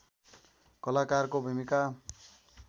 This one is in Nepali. कलाकारको भूमिका